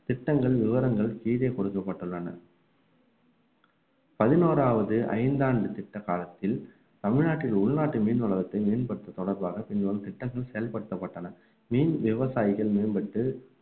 திட்டங்கள் விவரங்கள் கீழே கொடுக்கப்பட்டுள்ளன பதினோராவது ஐந்தாண்டு திட்ட காலத்தில் தமிழ்நாட்டில் உள்நாட்டு மீன் வளத்தை மேம்படுத்துவது தொடர்பாக பின்வரும் திட்டங்கள் செயல்படுத்தப்பட்டன மீன் விவசாயிகள் மேம்பட்டு